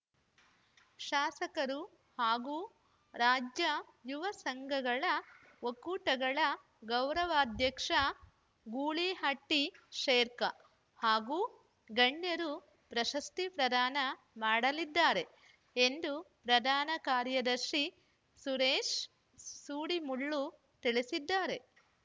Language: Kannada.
ಶಾಸಕರು ಹಾಗೂ ರಾಜ್ಯ ಯುವ ಸಂಘಗಳ ಒಕ್ಕೂಟಗಳ ಗೌರವಾಧ್ಯಕ್ಷ ಗೂಳಿಹಟ್ಟಿಶೇಖರ್‌ ಹಾಗೂ ಗಣ್ಯರು ಪ್ರಶಸ್ತಿ ಪ್ರದಾನ ಮಾಡಲಿದ್ದಾರೆ ಎಂದು ಪ್ರಧಾನ ಕಾರ್ಯದರ್ಶಿ ಸುರೇಶ್‌ ಸೂಡಿಮುಳ್ಳು ತಿಳಿಸಿದ್ದಾರೆ